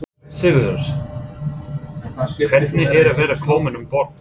Sigurður: Hvernig er að vera komin um borð?